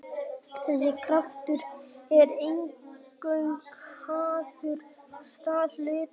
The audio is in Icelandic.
þessi kraftur er eingöngu háður stað hlutarins en ekki hraða eða stefnu